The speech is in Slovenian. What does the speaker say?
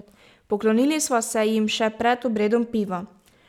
Poklonili sva se jim še pred obredom piva.